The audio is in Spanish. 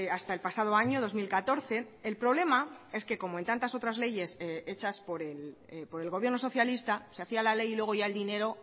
hasta el pasado año dos mil catorce el problema es que como en tantas otras leyes hechas por el gobierno socialista se hacía la ley y luego ya el dinero